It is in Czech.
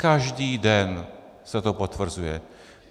Každý den se to potvrzuje.